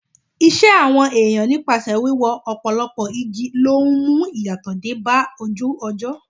Ìṣe àwọn èèyàn nípasẹ̀ wíwó ọ̀pọ̀lọpọ̀ igi ló ń mú ìyàtọ̀ dé bá ojú ọjọ́.